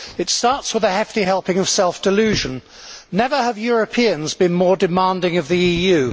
It starts with a hefty helping of self delusion never have Europeans been more demanding of the EU'.